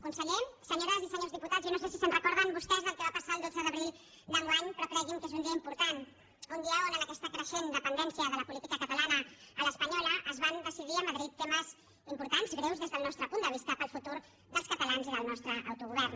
conseller senyores i senyors diputats jo no sé si se’n recorden vostès del que va passar el dotze d’abril d’enguany però creguin que és un dia important un dia on en aquesta creixent dependència de la política catalana a l’espanyola es van decidir a madrid temes importants greus des del nostre punt de vista per al futur dels catalans i del nostre autogovern